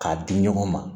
K'a di ɲɔgɔn ma